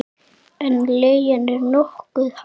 En leigan er nokkuð há.